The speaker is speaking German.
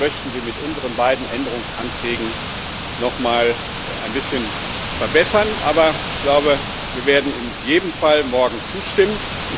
Wir möchten sie mit unseren beiden Änderungsanträgen noch mal ein bisschen verbessern, aber ich glaube, wir werden in jedem Fall morgen zustimmen.